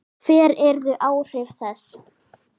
Hver yrðu áhrif þess?